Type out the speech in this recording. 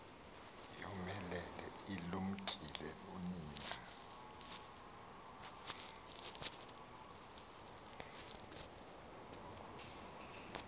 yomelele ilumkile nonina